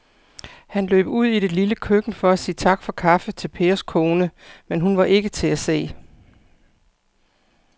Han løb ud i det lille køkken for at sige tak for kaffe til Pers kone, men hun var ikke til at se.